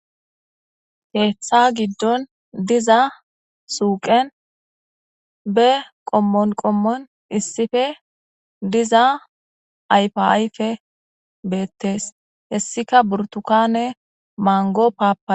keeththa giddon diza suuqen be qommon qommon issife diza ayfa ayfe beettees hessika burtukane mango paapa